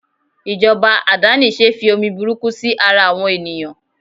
ijoba adanise fi omi burúkú sí ara àwọn ènìyàn